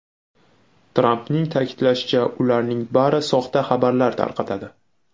Trampning ta’kidlashicha, ularning bari soxta xabarlar tarqatadi.